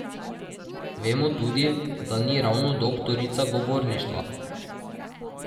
Vemo tudi, da ni ravno doktorica govorništva.